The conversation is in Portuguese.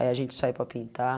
Aí a gente sai para pintar.